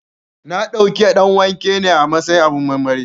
Na ɗauki ɗanwake ne a matsayin abin marmari